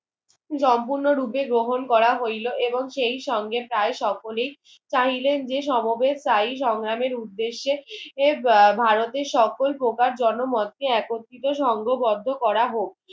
সম্পূর্ণ রূপে গ্রহণ করা হইলো এবং সেই সঙ্গে প্রায় সকলি চাহিলেন যে সমবেশ তাই সংগ্রামের উর্দেশে এর ভারতের সকল প্রকার জন মতে একত্রিত সঙ্গবদ্ধ করা হোক